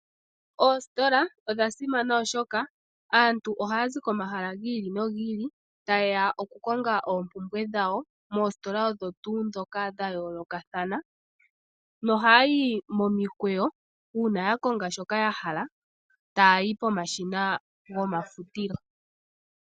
Ositola Odha simana, oshoka aantu ohaya zi komahala gi ili nogi ili ta yeya okukonga oompumbwe dhawo moositola odho tuu ndhoka dha yolakathana no haya yi momikweyo dhokuya moshina gomafultilo uuna yokonga shoka ya hala.